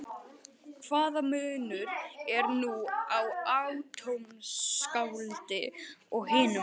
Hvaða munur er nú á atómskáldi og hinum?